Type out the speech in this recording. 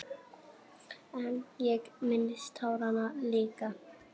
En ég minnist táranna líka.